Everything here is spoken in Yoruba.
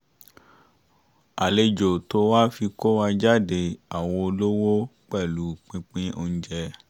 àlejò tó wá fi kó wa jáde àwo olówó pẹ̀lú pínpín oúnjẹ